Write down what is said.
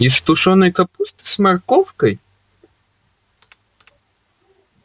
из тушёной капусты с морковкой